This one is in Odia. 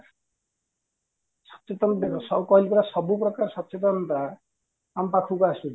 ସଚେତନତା କହିଲି ପରା ସବୁ ପ୍ରକାର ସଚେତନତା ଆମ ପାଖକୁ ଆସୁଚି